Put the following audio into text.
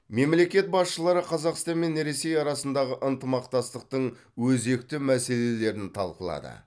мемлекет басшылары қазақстан мен ресей арасындағы ынтымақтастықтың өзекті мәселелерін талқылады